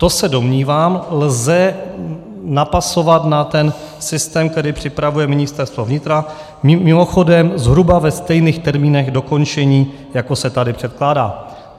To se domnívám, lze napasovat na ten systém, který připravuje Ministerstvo vnitra, mimochodem zhruba ve stejných termínech dokončení, jako se tady předkládá.